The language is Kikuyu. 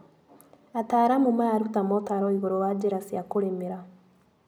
Ataaramu mararuta motaro igũrũ wa njĩra cia kũrĩmĩra.